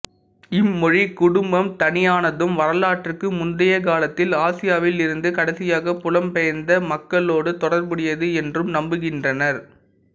இம்மொழிக் குடும்பம் தனியானதும் வரலாற்றுக்கு முந்தியகாலத்தில் ஆசியாவில் இருந்து கடைசியாகப் புலம் பெயர்ந்த மக்களோடு தொடர்புடையது என்றும் நம்புகின்றனர்